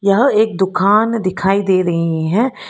यहां एक दुकान दिखाई दे रही है।